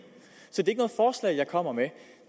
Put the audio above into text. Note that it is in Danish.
er jeg kommer med